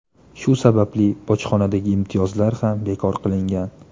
Shu sababli bojxonadagi imtiyozlar ham bekor qilingan.